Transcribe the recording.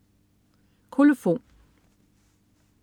Kolofon